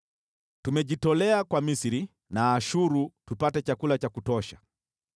Tumejitolea kwa Misri na Ashuru tupate chakula cha kutosha.